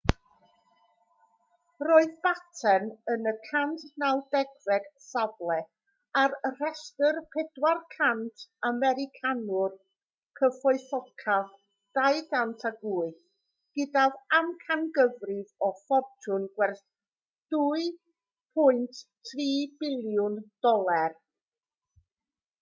roedd batten yn y 190fed safle ar restr 400 americanwr cyfoethocaf 2008 gydag amcangyfrif o ffortiwn gwerth $2.3 biliwn